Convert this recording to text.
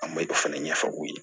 An ma dɔ fana ɲɛfɔ u ye